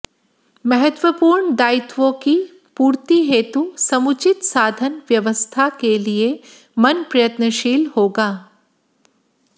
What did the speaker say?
महत्वपूर्ण दायित्वों की पूर्ति हेतु समुचित साधन व्यवस्था के लिए मन प्रयत्नशील होगा